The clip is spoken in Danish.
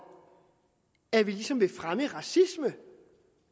at vi ligesom vil fremme racisme